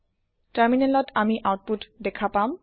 টাৰমিনেলত আমি আওতপুত দেখা পাম